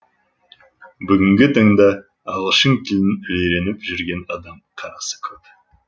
бүгінгі таңда ағылшын тілін үйреніп жүрген адам қарасы көп